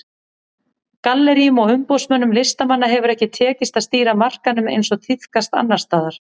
Galleríum og umboðsmönnum listamanna hefur ekki tekist að stýra markaðnum eins og tíðkast annars staðar.